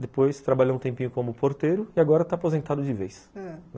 Depois trabalhou um tempinho como porteiro e agora está aposentado de vez, ãh